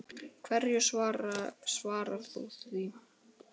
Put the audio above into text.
Björn: Hverju svarar þú því?